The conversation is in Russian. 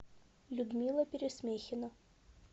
людмила пересмехина